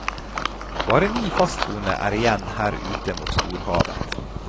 Bare ni fastboende er igjen her ute mot storhavet.